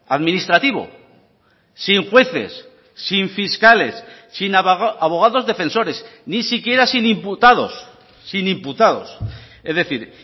administrativo sin jueces sin fiscales sin abogados defensores ni siquiera sin imputados sin imputados es decir